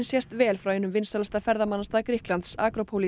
sést vel frá einum vinsælasta ferðamannastað Grikklands